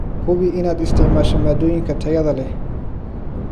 Hubi inaad isticmaasho maaddooyinka tayada leh.